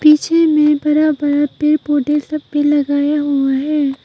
पीछे मे बड़ा बड़ा पेड़ पौधे सब भी लगाया हुआ है।